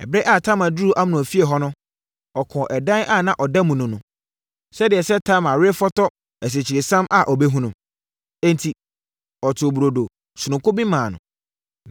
Ɛberɛ a Tamar duruu Amnon efie hɔ no, ɔkɔɔ ɛdan a na ɔda mu no mu, sɛdeɛ sɛ Tamar refotɔ asikyiresiam a ɔbɛhunu. Enti, ɔtoo burodo sononko bi maa no.